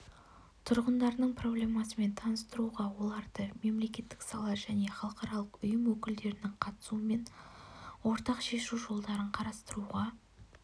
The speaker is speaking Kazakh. тұрғындарының проблемасымен таныстыруға оларды мемлекеттік сала және халықаралық ұйым өкілдерінің қатысуымен ортақ шешу жолдарын қарастыруға